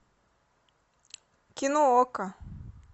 кино окко